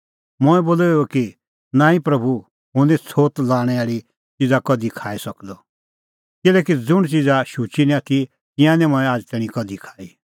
मंऐं बोलअ इहअ कि नांईं प्रभू हुंह निं छ़ोत लाणैं आल़ी च़िज़ा कधि खाई सकदअ किल्हैकि ज़ुंण च़िज़ा शुची निं आथी तिंयां निं मंऐं आझ़ तैणीं कधि खाई